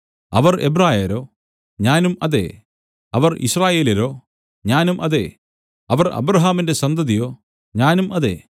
അവർ എബ്രായരോ ഞാനും അതേ അവർ യിസ്രായേല്യരോ ഞാനും അതേ അവർ അബ്രാഹാമിന്റെ സന്തതിയോ ഞാനും അതേ